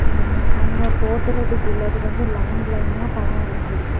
ம் அங்க போத்தறதுக்குள்ள வந்து லைன் லைனா படம் வரைந்து இருக்கு.